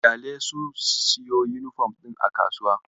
Ƙyalesu su siyo yunifom ɗin a kasuwa.